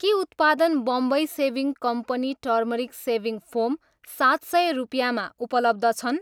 के उत्पादन Bombay shaving company turmeric shaving foam सात सय रुपियाँमा उपलब्ध छन्?